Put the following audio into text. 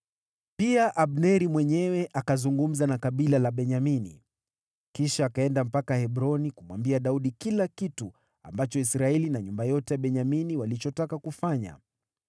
Pia Abneri mwenyewe akazungumza na kabila la Benyamini. Kisha akaenda mpaka Hebroni kumwambia Daudi kila kitu ambacho Israeli na nyumba yote ya Benyamini walichotaka kufanya.